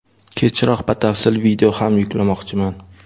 Kechroq batafsil video ham yuklamoqchiman.